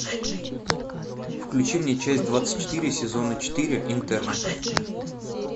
включи мне часть двадцать четыре сезона четыре интерны